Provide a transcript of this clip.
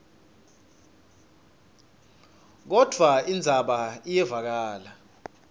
kodvwa indzaba iyevakala